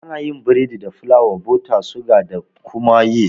Ana yin biredi da fulawa, bota, suga da kuma yist